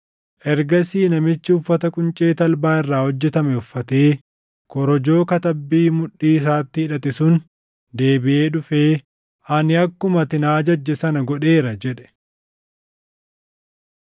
Ergasii namichi uffata quncee talbaa irraa hojjetame uffatee korojoo katabbii mudhii isaatti hidhate sun deebiʼee dhufee, “Ani akkuma ati na ajajje sana godheera” jedhe.